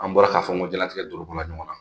An bɔra k'a fɔ n ko diɲɛlatigɛ don olu bɔla ɲɔgɔn na